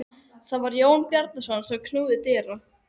Það var Jón Bjarnason sem knúði dyra.